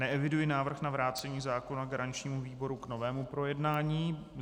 Neeviduji návrh na vrácení zákona garančnímu výboru k novému projednání.